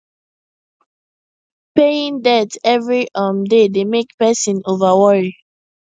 paying debt every um day dey make person over worry